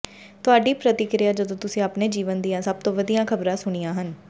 ਤੁਹਾਡੀ ਪ੍ਰਤੀਕ੍ਰਿਆ ਜਦੋਂ ਤੁਸੀਂ ਆਪਣੇ ਜੀਵਨ ਦੀਆਂ ਸਭ ਤੋਂ ਵਧੀਆ ਖ਼ਬਰਾਂ ਸੁਣੀਆਂ ਸਨ